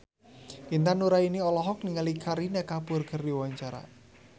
Intan Nuraini olohok ningali Kareena Kapoor keur diwawancara